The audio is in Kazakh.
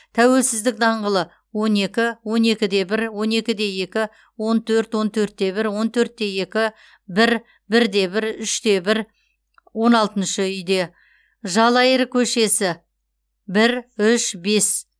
тәуелсіздік даңғылы он екі он екі де бір он екі де екі он төрт он төрт те бір он төрт те екі бір бір де бір үш те бір он алтыншы үйде жалайыр көшесі бір үш бес